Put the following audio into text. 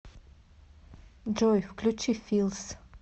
джой включи филс